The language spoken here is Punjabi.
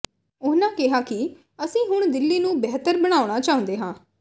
ਉਨ੍ਹਾਂ ਕਿਹਾ ਕਿ ਅਸੀਂ ਹੁਣ ਦਿੱਲੀ ਨੂੰ ਬਿਹਤਰ ਬਣਾਉਣਾ ਚਾਹੁੰਦੇ ਹਾਂ